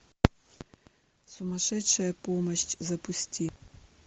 сумасшедшая помощь запусти